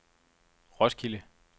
Roskilde